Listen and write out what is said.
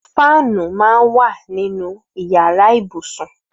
Fànú mà n wà ninú iyàrá ibúsún